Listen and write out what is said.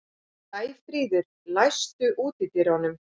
Sæfríður, læstu útidyrunum.